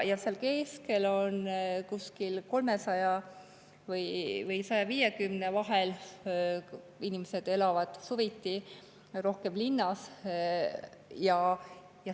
Ja seal on kuskil 300 või 150, inimesed elavad seal suviti, rohkem linnas.